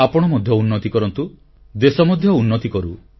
ଆପଣ ମଧ୍ୟ ଉନ୍ନତି କରନ୍ତୁ ଦେଶ ମଧ୍ୟ ଉନ୍ନତି କରୁ